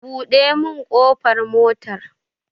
Buɗe min ƙofar motar